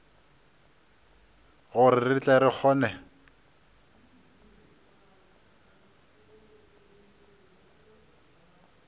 gore re tle re kgone